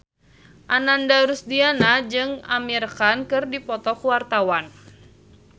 Ananda Rusdiana jeung Amir Khan keur dipoto ku wartawan